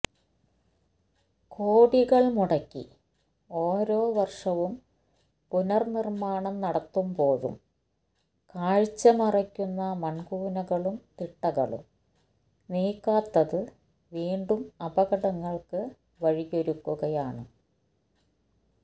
കോടികൾ മുടക്കി ഓരോ വർഷവും പുനർനിർമാണം നടത്തുമ്പോഴും കാഴ്ചമറയ്ക്കുന്ന മൺകൂനകളും തിട്ടകളും നീക്കാത്തത് വീണ്ടും അപകടങ്ങൾക്ക് വഴിയൊരുക്കുകയാണ്